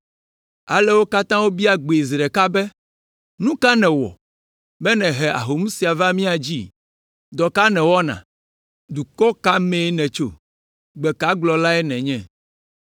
Ale wo katã wobia gbee zi ɖeka be, “Nu ka nèwɔ, be nèhe ahom sia va mía dzi? Dɔ ka nèwɔna? Dukɔ ka me nètso? Gbe ka gblɔlae nènye?”